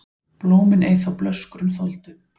Blómin ei þá blöskrun þoldu,